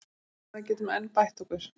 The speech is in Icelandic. Ég tel að við getum enn bætt okkur.